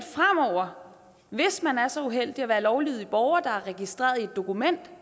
hvis man er så uheldig at være en lovlydig borger der er registreret i et dokument